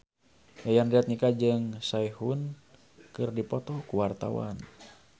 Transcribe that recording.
Yayan Jatnika jeung Sehun keur dipoto ku wartawan